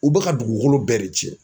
U bɛ ka dugukolo bɛɛ de cɛn.